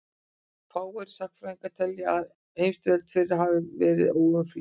fáir sagnfræðingar telja að heimsstyrjöldin fyrri hafi verið óumflýjanleg